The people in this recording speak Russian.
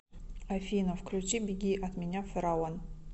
афина включи беги от меня фараон